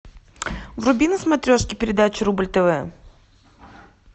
вруби на смотрешке передачу рубль тв